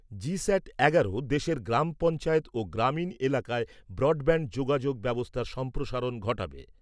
GSAT এগারো দেশের গ্রাম পঞ্চায়েত ও গ্রামীণ এলাকায় ব্রডব্যান্ড যোগাযোগ ব্যবস্থার সম্প্রসারণ ঘটাবে।